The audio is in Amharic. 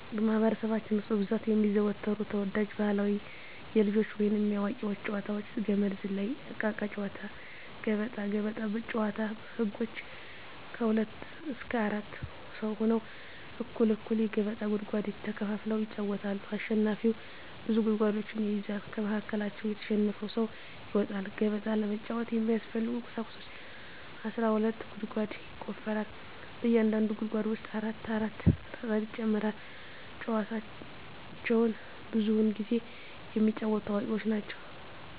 በማህበረሰባችን ውስጥ በብዛት የሚዘወተሩ ተወዳጅ ባህላዊ የልጆች ወይንም የአዋቂዎች ጨዋታዎች - ገመድ ዝላይ፣ እቃቃ ጨዎታ፣ ገበጣ። ገበጣ ጨዎታ ህጎች ከሁለት እስከ አራት ሰው ሁነው እኩል እኩል የገበጣ ጉድጓድ ተከፋፍለው ይጫወታሉ አሸናፊው ብዙ ጉድጓዶችን ይይዛል ከመሀከላቸው የተሸነፈው ሰው ይወጣል። ገበጣ ለመጫወት የሚያስፈልጊ ቁሳቁሶች አስራ ሁለት ጉድጓድ ይቆፈራል በእያንዳንዱ ጉድጓድ ውስጥ አራት አራት ጠጠር ይጨመራል። ጨዎቸውን ብዙውን ጊዜ የሚጫወቱት አዋቂዎች ናቸው።